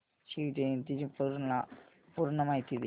शिवजयंती ची मला पूर्ण माहिती दे